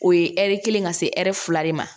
O ye ɛri kelen ka se ɛri fila de ma